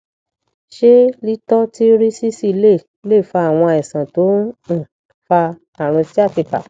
ṣé lítọtírísísì lè lè fa àwọn àìsàn tó ń um fa àrùn sciatica